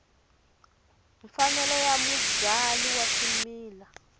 mfanelo ya mubyali wa swimila